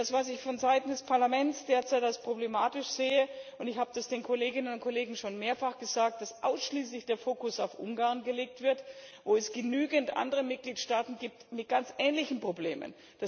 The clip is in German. Das, was ich von Seiten des Parlaments derzeit als problematisch sehe und ich habe das den Kolleginnen und Kollegen schon mehrfach gesagt ist, dass ausschließlich der Fokus auf Ungarn gelegt wird, wo es doch genügend andere Mitgliedstaaten gibt mit ganz ähnlichen Problemen.